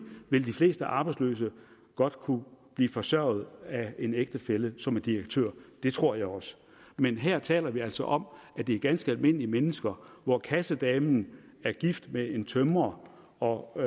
vil de fleste arbejdsløse godt kunne blive forsørget af en ægtefælle som er direktør det tror jeg også men her taler vi altså om at det er ganske almindelige mennesker hvor kassedamen er gift med en tømrer og